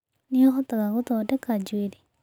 Nĩ ũhotaga gũthondeka njuĩrĩ?